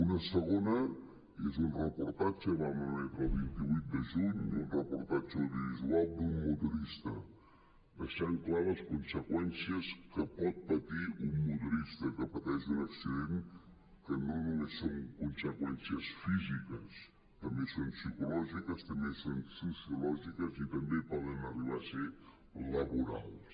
una segona és un reportatge el vam emetre el vint vuit de juny audiovisual d’un motorista que deixa clares les conseqüències que pot patir un motorista que pateix un accident que no només són conseqüències físiques també són psicològiques també són sociològiques i també poden arribar a ser laborals